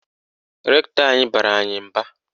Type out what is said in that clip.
Rektọ anyị bara anyị mba.